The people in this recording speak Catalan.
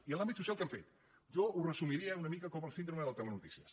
i en l’àmbit social què han fet jo ho resumiria una mica com la síndrome del telenotícies